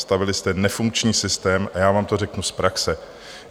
Nastavili jste nefunkční systém - a já vám to řeknu z praxe.